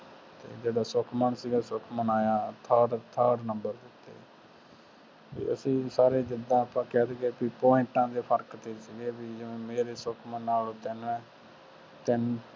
ਜਿਹੜਾ ਸੁਖਮਨ ਸੀ ਸੁਖਮਨ ਆਯਾ third number ਤੇ ਤੇ ਅਸੀਂ ਸਾਰੇ point ਦੇ ਫਰਕ ਤੇ ਸੀ